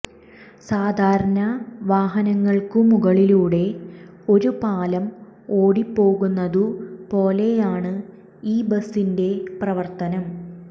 സാധാരണ വാഹനങ്ങള്ക്കു മുകളിലൂടെ ഒരു പാലം ഓടിപ്പോകുന്നതു പോലെയാണു ഈ ബസിന്റെ പ്രവര്ത്തനം